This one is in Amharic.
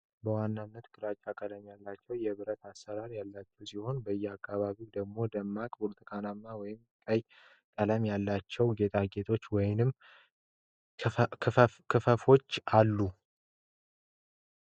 በዋናነት ግራጫ ቀለም ያላቸው የብረት አሠራር ያላቸው ሲሆን፣ በየአካባቢው ደግሞ ደማቅ ብርቱካናማ ወይም ቀይ ቀለም ያላቸው ጌጣጌጦች ወይም ክፈፎች አሉ።